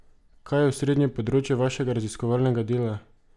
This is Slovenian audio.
Kaj je osrednje področje vašega raziskovalnega dela?